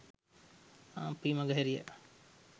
අපි මගහැරියා.